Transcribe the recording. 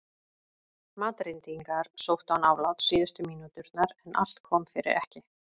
Madrídingar sóttu án afláts síðustu mínúturnar en allt kom fyrir ekki.